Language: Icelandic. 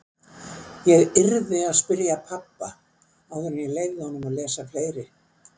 Ég yrði að spyrja pabba áður en ég leyfði honum að lesa fleiri.